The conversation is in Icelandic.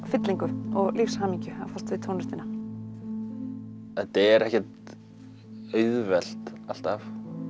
fyllingu og lífshamingju að fást við tónlistina þetta er ekkert auðvelt alltaf